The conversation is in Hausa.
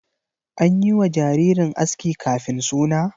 An yi wa jaririn aski kafin suna?